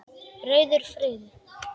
Rauður friður